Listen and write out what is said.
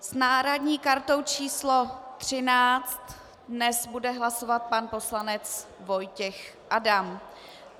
S náhradní kartou číslo 13 dnes bude hlasovat pan poslanec Vojtěch Adam.